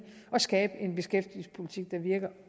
og skabe en beskæftigelsespolitik der virker